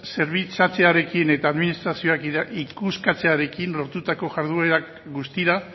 zerbitzatzearekin eta administrazioak ikuskatzearekin lortutako jarduerak guztira